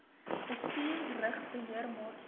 bestuur rig beheermaatstawwe